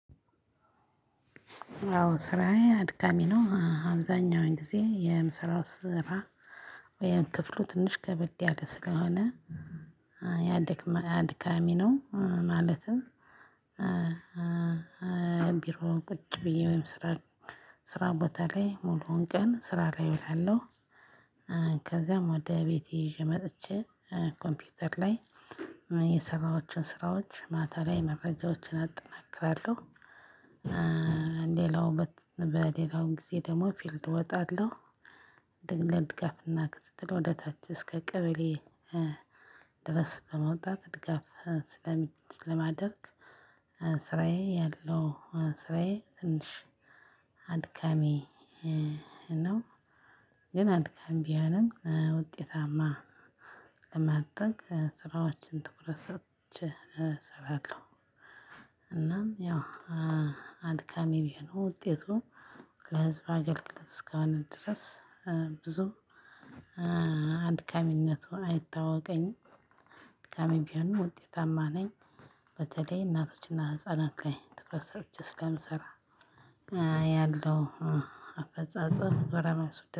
አዎ ስራዬ አድካሚ ነው አብዛኛውን ጊዜ የምስራው ስራ እ ክፍሉ ትንሽ ከበድ ያለ ስለሆነ አድካሚ ነው። ማለትም ቢሮ ቁጭ ብዬ ወይም ስራ ስራ ቦታ ላይ ሙሉውን ቀን ስራ ላይ እውላለሁ ከዛም ወደ ቤቴ ይዤ መጥቼ ኮምፒውተር ላይ የሰራዋቸውን ስራዎች ማታ ላይ መረጃዎችን አጠናክራለሁ። ሌላውበት በሌላው ጊዜ ደግሞ ፊልድ እወጣለሁ። ለድጋፍ እና ከትትል ወደ ታች እስከ ቀበሌ ድረስ በመውጣት ድጋፍ ስለማደርግ ስራዬ ያለው ስራዬ ትንሽ አድካሚ ነው። ግን አድካም ቢሆንም ውጤታማ ለማድረግ ስራዎችን ትኩረት ሰጥቼ እሰራለሁ። እናም ያው አድካሚ ቢሆን ውጤቱ ለህዝብ አገልግሎት እስከሆነ ድረስ ብዙ አድካሚነቱን አይታወቀኝም ድካሜም ቢሆንም ውጤታማ ነኝ። በተለይ እናቶችና ህፃናት ትኩረት ሰጥቼ ስለምሰራ ያለው አፈጻጸም